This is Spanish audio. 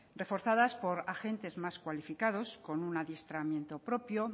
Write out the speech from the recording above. reforzadas por agentes más cualificados con un adiestramiento propio